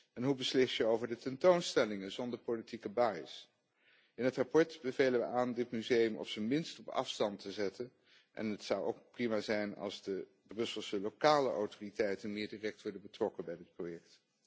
En hoe beslis je over de tentoonstellingen zonder politieke vooringenomenheid? In het verslag bevelen we aan dit museum op z'n minst op afstand te zetten en het zou ook prima zijn als de Brusselse lokale autoriteiten meer direct worden betrokken bij dit project.